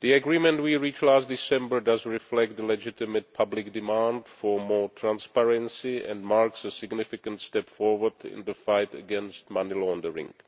The agreement we reached last December reflects the legitimate public demand for more transparency and marks a significant step forward in the fight against money laundering.